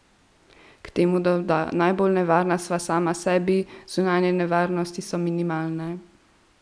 K temu doda: "Najbolj nevarna sva sama sebi, zunanje nevarnosti so minimalne.